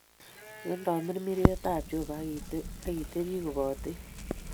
Nyo, tamirmiriet ab Jehovah akitepi kopatech